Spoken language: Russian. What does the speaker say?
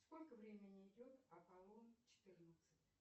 сколько времени идет аполлон четырнадцать